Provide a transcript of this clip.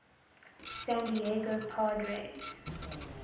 san diego padres